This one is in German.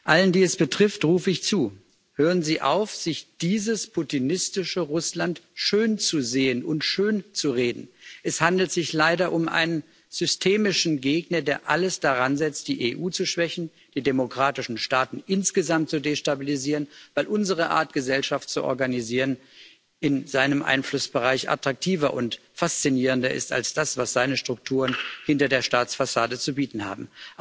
Allen, die es betrifft, rufe ich zu Hören Sie auf, sich dieses putinistische Russland schönzusehen und schönzureden! Es handelt sich leider um einen systemischen Gegner, der alles daransetzt, die EU zu schwächen, die demokratischen Staaten insgesamt zu destabilisieren, weil unsere Art, Gesellschaft zu organisieren, in seinem Einflussbereich attraktiver und faszinierender ist als das, was seine Strukturen hinter der Staatsfassade zu bieten haben.